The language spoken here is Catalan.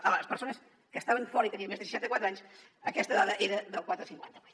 a les persones que estaven fora i tenien més de seixanta quatre anys aquesta dada era del quatre coma cinquanta vuit